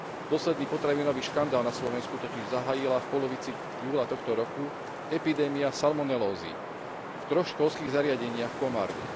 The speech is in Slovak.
Posledný potravinový škandál na Slovensku totiž zahájila v polovici júla tohto roku epidémia salmonelózy v troch školských zriadeniach v Komárne.